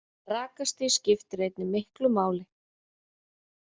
Rakastig skiptir einnig miklu máli.